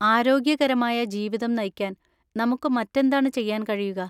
ആരോഗ്യകരമായ ജീവിതം നയിക്കാൻ നമുക്ക് മറ്റെന്താണ് ചെയ്യാൻ കഴിയുക?